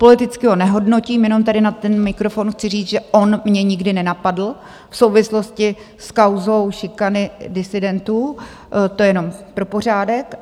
Politicky ho nehodnotím, jenom tady na ten mikrofon chci říct, že on mě nikdy nenapadl v souvislosti s kauzou šikany disidentů, to jenom pro pořádek.